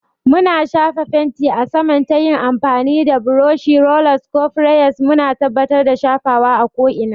Muna shafa fenti a saman ta yin amfani da burushi, rollers, ko sprayers, muna tabbatar da shafawa a ko'ina.